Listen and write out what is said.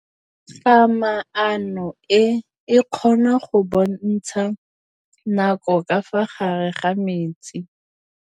Toga-maanô e, e kgona go bontsha nakô ka fa gare ga metsi.